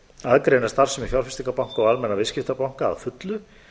aðgreina starfsemi fjárfestingarbanka og almenna viðskiptabanka að fullu